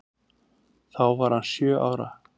Þá var hann sjö ára.